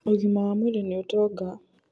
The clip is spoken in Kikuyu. ũgima wa mwĩrĩ nĩ utonga